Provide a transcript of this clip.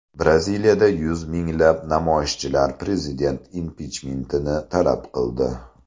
Braziliyada yuz minglab namoyishchilar prezident impichmentini talab qildi.